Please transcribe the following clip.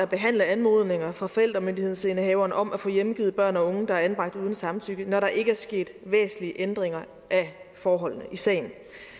behandle anmodninger fra forældremyndighedsindehaveren om at få hjemgivet børn og unge der er anbragt uden samtykke når der ikke er sket væsentlige ændringer af forholdene i sagen